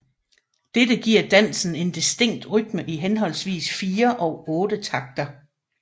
Dette giver dansen en distinkt rytme i henholdsvis 4 og otte takter